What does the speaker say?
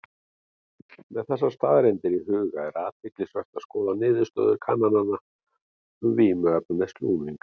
Með þessar staðreyndir í huga er athyglisvert að skoða niðurstöður kannana um vímuefnaneyslu unglinga.